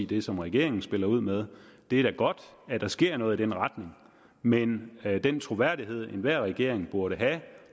det som regeringen spiller ud med det er da godt at der sker noget i den retning men den troværdighed enhver regering burde have